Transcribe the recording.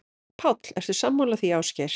Páll: Ertu sammála því, Ásgeir?